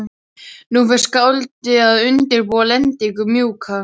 Nú fer skáldið að undirbúa lendingu- mjúka.